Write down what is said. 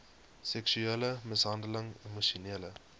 seksuele mishandeling emosionele